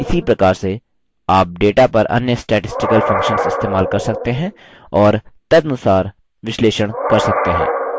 इसी प्रकार से आप data पर अन्य statistical functions इस्तेमाल कर सकते हैं और तदनुसार विश्लेषण कर सकते हैं